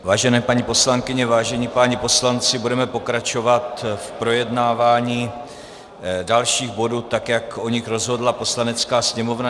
Vážené paní poslankyně, vážení páni poslanci, budeme pokračovat v projednávání dalších bodů, tak jak o nich rozhodla Poslanecká sněmovna.